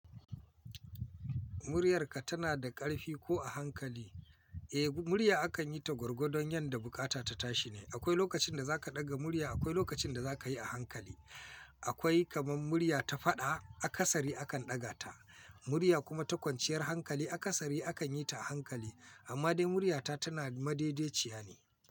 Muryarka tana da ƙarfi ko a hankali? Eh, murya akan yi ta gwargwadon yadda bukata ta tashi ne. Akwai lokacin da za ka ɗaga murya, akwai lokacin da za ka yi a hankali. Akwai kamar murya ta faɗa, a kasari akan ɗaga ta. Murya kuma ta kwanciyar hankali a kasari akan yi ta a hankali. Amma dai muryata tana madaideciya ne.